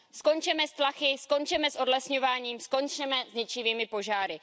Skončeme s tlachy, skončeme s odlesňováním, skončeme s ničivými požáry.